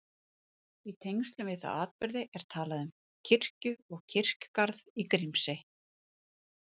Í tengslum við þá atburði er talað um kirkju og kirkjugarð í Grímsey.